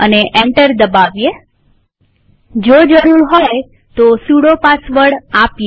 enter દબાવીએજો જરૂર હોય તો સુડો પાસવર્ડ આપીએ